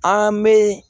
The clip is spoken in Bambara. An bɛ